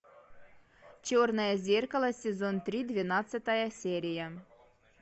черное зеркало сезон три двенадцатая серия